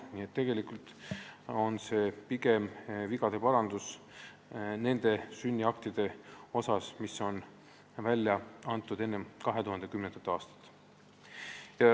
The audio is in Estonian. Nii et tegelikult on see pigem nende sünniaktide vigade parandus, mis on välja antud enne 2010. aastat.